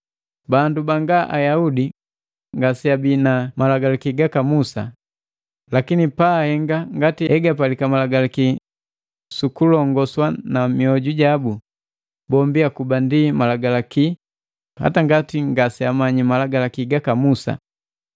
Bandu Banga Ayaudi ngaseabi na Malagalaki gaka Musa, lakini paahenga ngati egapalika Malagalaki sukulongoswa na mioju jabu, bombi akuba ndi Malagalaki hata ngati ngaseagamanyi Malagalaki gaka Musa.